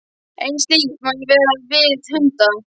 En slíkt má ekki gera við hunda.